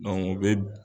u bɛ